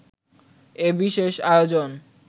এ বিশেষ আয়োজন